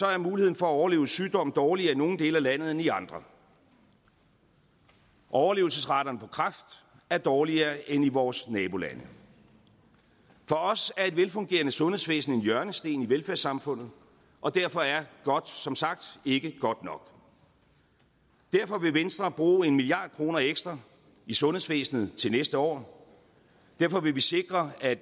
er muligheden for at overleve sygdom dårligere i nogle dele af landet end i andre og overlevelsesraterne for kræft er dårligere end i vores nabolande for os er et velfungerende sundhedsvæsen en hjørnesten i velfærdssamfundet og derfor er godt som sagt ikke godt nok derfor vil venstre bruge en milliard kroner ekstra i sundhedsvæsenet til næste år derfor vil vi sikre at